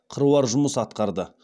қыруар жұмыс атқарды